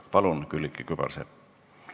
Palun, Külliki Kübarsepp!